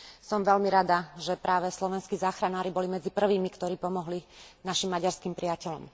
Som veľmi rada, že práve slovenskí záchranári boli medzi prvými, ktorí pomohli našim maďarským priateľom.